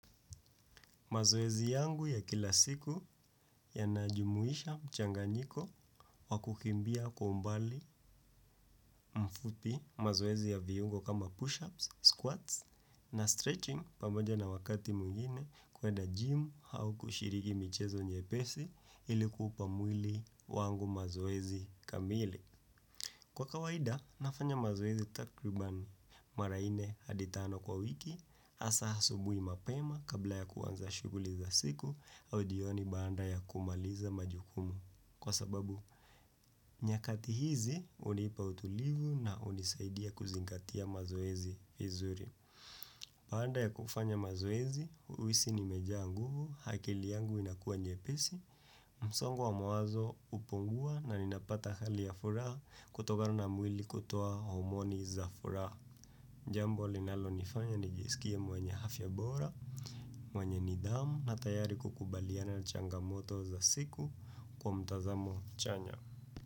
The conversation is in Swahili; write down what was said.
Mazoezi yangu ya kila siku yanajumuisha mchanganyiko wakukimbia kwa umbali mfupi, mazoezi ya viungo kama push-ups, squats na stretching pamoja na wakati mwingine kuenda gym au kushiriki michezo nyepesi ilikuupa mwili wangu mazoezi kamili. Kwa kawaida, nafanya mazoezi takribani mara nne hadi tano kwa wiki, hasa hasubui mapema kabla ya kuwanza shuguli za siku au jioni baada ya kumaliza majukumu. Kwa sababu, nyakati hizi, hunipa utulivu na hunisaidia kuzingatia mazoezi vizuri. Baada ya kufanya mazoezi, huisi nimejaa nguvu, akili yangu inakuwa nyepesi, msongo wa mawazo hupungua na ninapata hali ya furaha kutokana na mwili kutoa homoni za furaha. Jambo linalonifanya nijisikie mwanya afya bora, mwanye nidhamu na tayari kukubaliana changamoto za siku kwa mtazamo chanya.